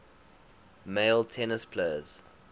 male tennis players